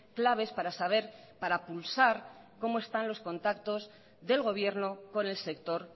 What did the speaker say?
claves para saber para pulsar cómo están los contactos del gobierno con el sector